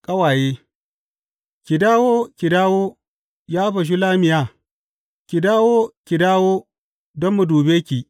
Ƙawaye Ki dawo, ki dawo, ya Bashulammiya; ki dawo, ki dawo, don mu dube ki!